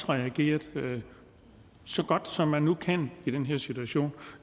reageret så godt som man nu kan i den her situation